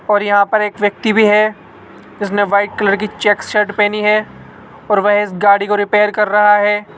और यहां पर एक व्यक्ति भी है उसने व्हाइट कलर की चेक्स शर्ट पहनी है और वे इस गाड़ी को रिपेयर कर रहा है।